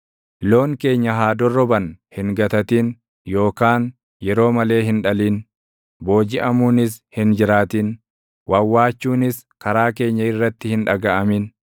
loon keenya haa dorroban hin gatatin yookaan yeroo malee hin dhalin; boojiʼamuunis hin jiraatin; wawwaachuunis karaa keenya irratti hin dhagaʼamin.